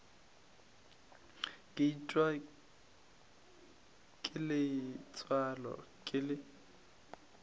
ke itiwa ke letswalo ke